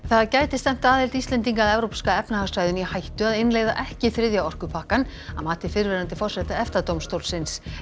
það gæti stefnt aðild Íslendinga að evrópska efnahagssvæðinu í hættu að innleiða ekki þriðja orkupakkann að mati fyrrverandi forseta EFTA dómstólsins